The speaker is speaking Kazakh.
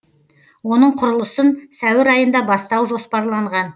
оның құрылысын сәуір айында бастау жоспарланған